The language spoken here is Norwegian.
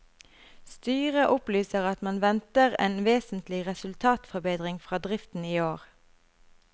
Styret opplyser at man venter en vesentlig resultatforbedring fra driften i år.